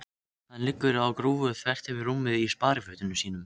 Hann liggur á grúfu þvert yfir rúmið í sparifötunum sínum.